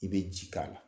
I bɛ ji k'a la